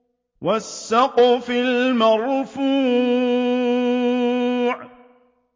وَالسَّقْفِ الْمَرْفُوعِ